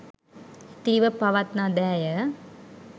ඉතිරිව පවත්නා දෑය.